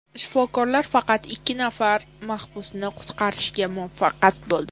Shifokorlar faqat ikki nafar mahbusni qutqarishga muvaffaq bo‘ldi.